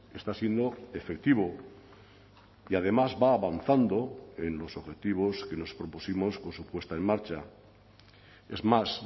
está siendo efectivo y además va avanzando en los objetivos que nos propusimos con su puesta en marcha es más